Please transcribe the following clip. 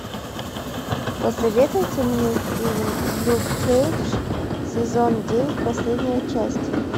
посоветуйте мне фильм люк кейдж сезон девять последняя часть